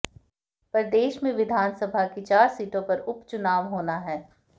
प्रदेश में विधानसभा की चार सीटों पर उपचुनाव होना हैं